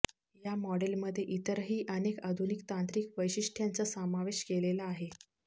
या मॉडेलमध्ये इतरही अनेक आधुनिक तांत्रिक वैशिष्ट्यांचा समावेश केलेला आहे